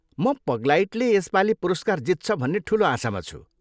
म पग्लाइटले यसपालि पुरस्कार जित्छ भन्ने ठुलो आशामा छु।